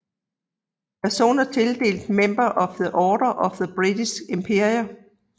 Personer tildelt Member of the Order of the British Empire